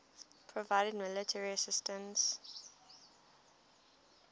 provided military assistance